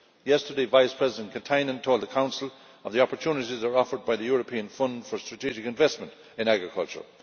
Yesterday, Vice President Katainen told the Council of the opportunities offered by the European Fund for Strategic Investments in agriculture.